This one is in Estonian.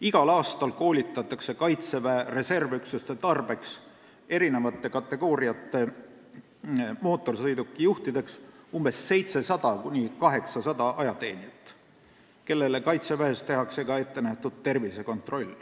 Igal aastal koolitatakse Kaitseväe reservüksuste tarbeks eri kategooriate mootorsõiduki juhtideks 700–800 ajateenijat, kellele Kaitseväes tehakse ka ettenähtud tervisekontroll.